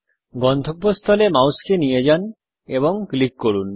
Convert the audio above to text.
গন্তব্যস্থলে মাউসকে নিয়ে যান এবং ক্লিক করুন